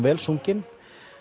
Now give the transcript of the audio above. vel sungin